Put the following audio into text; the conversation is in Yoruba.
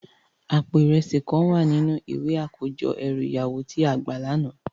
Àpó irèsi kán wá ninú iwé àkójò èrú iyàwó ti á gbá làná